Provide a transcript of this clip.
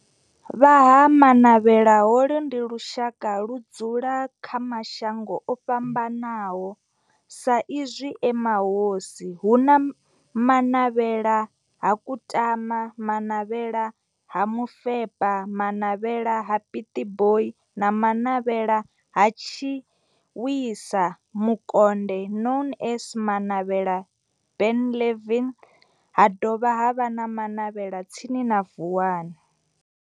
Vha Ha-Manavhela, holu ndi lushaka ludzula kha mashango ofhambanaho sa izwi e mahosi, hu na Manavhela ha Kutama, Manavhela ha Mufeba, Manavhela ha Pietboi na Manavhela ha Tshiwisa Mukonde known as Manavhela Benlavin, ha dovha havha na Manavhela tsini na Vuwani.